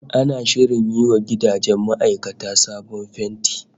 Ana shirin yi wa gidajen ma'aikata sabon fenti